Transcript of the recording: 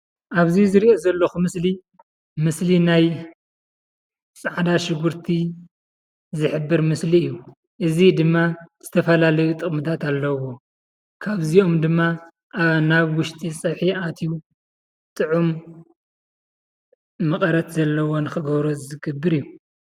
ኣብዚ ዝሪኦ ዘለኹ ምስሊ ናይ ፃዕዳ ሽጉርቲ ዝሕብር ምስሊ እዩ። እዚ ድማ ዝተፈላለዩ ጥቅምታት ኣለዎ። ካብዚኦም ድማ ኣብ ናብ ውሽጢ ፀብሒ ኣትዩ ጥዑም መቐረት ዘለዎ ንኽገብሮ ዝገብር እዩ።